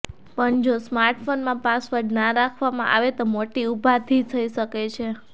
પણ જો સ્માર્ટફોનમાં પાસવર્ડ ના રાખવામાં આવે તો મોટી ઉપાધી થઇ શકે છે